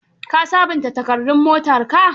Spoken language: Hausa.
Ka sabunta takardun motarka?